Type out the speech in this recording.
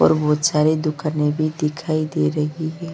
ऊपर बाहर सारे दुकाने भी दिखाई दे रही है।